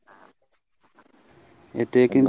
এতে কিন্তু